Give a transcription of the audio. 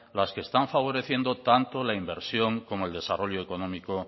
las que están favoreciendo tanto la inversión como el desarrollo económico